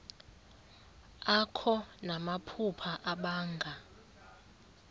akho namaphupha abanga